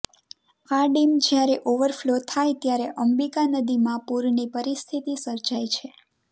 આ ડેમ જ્યારે ઓવરફ્લો થાય ત્યારે અંબિકા નદીમાં પૂરની પરિસ્થિતિ સર્જાય છે